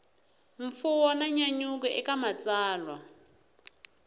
mfuwo na nyanyuko eka matsalwa